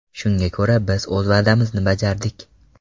Shunga ko‘ra, biz o‘z va’damizni bajardik.